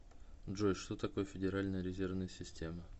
джой что такое федеральная резервная система